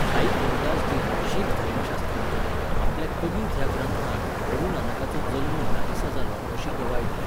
भाई गुरदासजीन, शीख धर्मशास्त्रज्ञान, आपल्या 'कबीत' ह्या ग्रंथांत गुरू नानकाचो जल्म ह्या दिसा जालो अशी गवाय दिल्या.